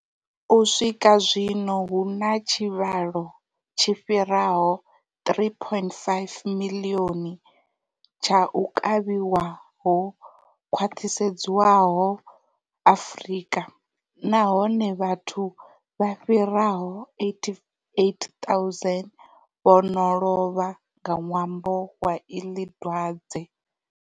U swika zwino hu na tshivhalo tshi fhiraho 3.5 miḽioni tsha u kavhiwa ho khwaṱhisedzwaho Afrika, nahone vhathu vha fhiraho 88,000 vho no lovha nga ṅwambo wa iḽi dwadze.